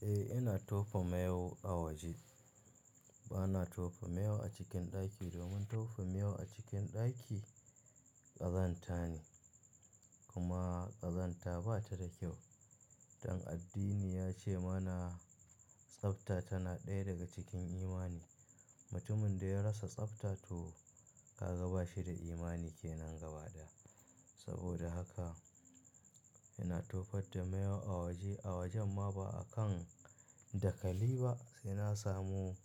Eh, ina tofa miyau a waje. Ba na tofa mayu a cikin ɗaki domin tofa mayu a cikin ɗaki ƙazanta ne kuma ƙazanta ba ta da kyau. Dan addini ya ce mana tsafta tana ɗaya daga cikin imani. Mutumin da ya rasa tsafta to ka ga ba shi da imani ke nan gaba ɗaya. Saboda haka ina tofar da mayu a waje, a wajen ma ba a kan dakali ba, sai na samu